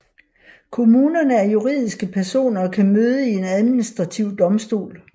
Kommunerne er juridiske personer og kan møde i en administrativ domstol